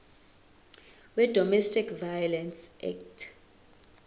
wedomestic violence act